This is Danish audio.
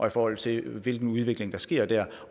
i forhold til hvilken udvikling der sker dér